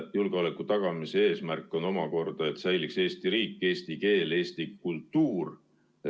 Julgeoleku tagamise eesmärk on omakorda see, et säiliks Eesti riik, eesti keel ja eesti kultuur.